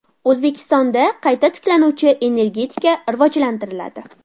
O‘zbekistonda qayta tiklanuvchi energetika rivojlantiriladi.